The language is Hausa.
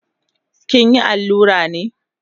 Kinyi allura ne?